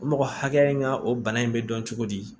O mɔgɔ hakɛ in ka o bana in bɛ dɔn cogo di